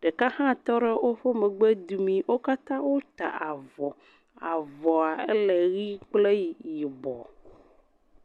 ɖeka hã tɔ re woƒe megbedomii. Wo katã wota avɔa. Avɔa éle ʋi kple yibɔ.